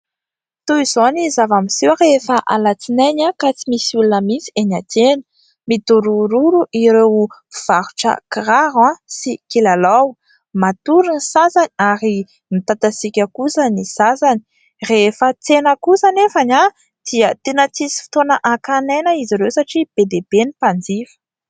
Toy izao ny zava-miseho rehefa alatsinainy ka tsy misy olona mihitsy eny an-tsena, midorororo ireo mpivarotra kiraro sy kilalao, matory ny sasany ary mitatasiaka kosa ny sasany ; rehefa tsena kosa anefa ny dia tena tsisy fotoana hakan'aina izy ireo satria be dia be ny mpanjifa.